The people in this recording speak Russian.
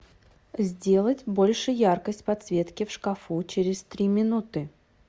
сделать больше яркость подсветки в шкафу через три минуты